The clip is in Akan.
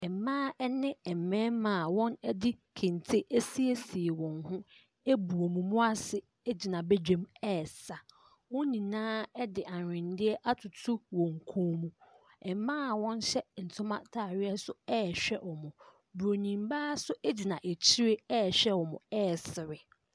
Mmaa ne mmarima a wɔde kente asiesie wɔn ho abu wɔn mu ase gyina badwam resa. Wɔn nyinaa de ahwenneɛ atoto wɔn kɔn mu. Mmaa a wɔhyɛ ntoma ataareɛ nso rehwɛ wɔn. Buroni baa nso gyina akyire rehwɛ wɔn resere.